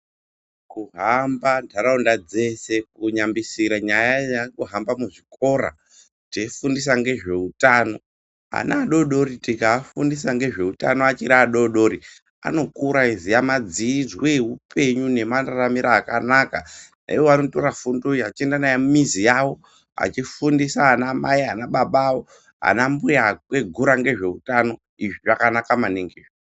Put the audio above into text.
Kuhamba ntaraunda dzese, kunyambisira nyaa yekuhamba muzvikora teifundisa ngezveutano. Ana adori dori tikaafundisa ngezveutano achiri adori dori anokura achiziya madzijwe ehupenyu nemararamire akanaka. Iwo anotora fundo iyi achienda nayo mumizi yavo, achifundisa anamai, anababa, anambuya akwegura ngezveutano. Izvi zvakanaka maningi izvi.